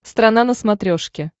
страна на смотрешке